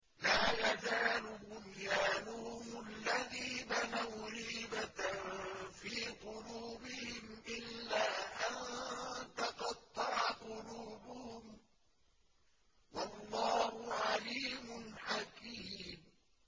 لَا يَزَالُ بُنْيَانُهُمُ الَّذِي بَنَوْا رِيبَةً فِي قُلُوبِهِمْ إِلَّا أَن تَقَطَّعَ قُلُوبُهُمْ ۗ وَاللَّهُ عَلِيمٌ حَكِيمٌ